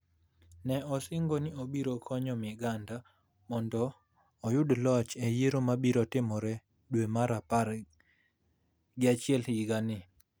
ne osingo ni obiro konyo Miganda mondo oyud loch e yiero mabiro timore e dwe mar apar gi achiel higa ni,